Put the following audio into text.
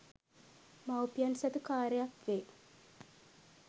මවුපියන් සතු කාර්යයක් වේ